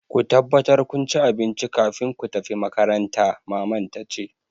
Ku tabbatar kun ci abinci kafin ku tafi makaranta! Maman ta ce.